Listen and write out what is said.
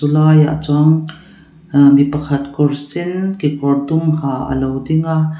laiah chuan aaa mi pakhat kawr sen kekawr dum ha alo ding a.